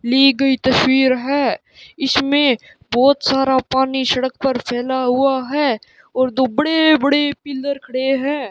ली गई तस्वीर है इसमें बहुत सारा पानी सड़क पर फैला हुआ है और दो बड़े बड़े पिलर खड़े हैं।